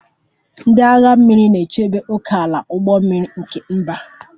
Ndị agha mmiri na-echebe ókèala ụgbọ mmiri nke mba